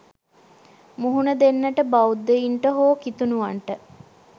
මුහුණ දෙන්නට බෞද්ධයින්ට හෝ කිතුනුවන්ට